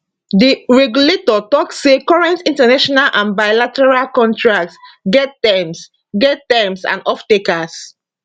di regulator tok say current international and bilateral contracts get terms get terms and offtakers